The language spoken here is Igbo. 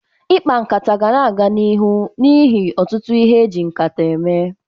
Ikpa nkata ga na-aga n'iru n'ihi ọtụtụ ihe e ji nkata eme.